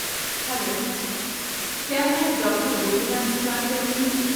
Hello, کیا میں doctor Gopinath سے بات کر رہی ہوں؟